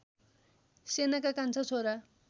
सेनका कान्छा छोरा